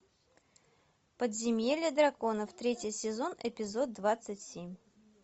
подземелье драконов третий сезон эпизод двадцать семь